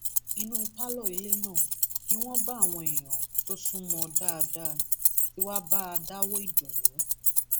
inú pálọ ilé náà níwọnba àwọn èèyàn tó sún mọ ọn dáadáa tí wàá bá a dáwọọ ìdùnnú